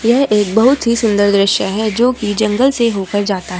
यह एक बहुत ही सुंदर दृश्य है जो की जंगल से होकर जाता है।